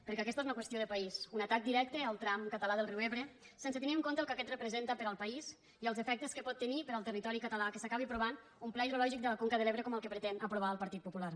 perquè aquesta és una qüestió de país un atac directe al tram català del riu ebre sense tenir en compte el que aquest representa per al país i els efectes que pot tenir per al territori català que s’acabi aprovant un pla hidrològic de la conca de l’ebre com el que pretén aprovar el partit popular